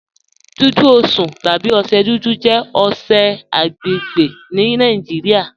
Dùdú Osùn tàbí ọṣẹ̀ dúdú jẹ̀ ọṣẹ̀ agbẹ́gbẹ́ ní Nàìjíríà.